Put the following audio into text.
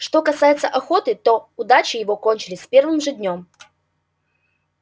что касается охоты то удачи его кончились с первым же днём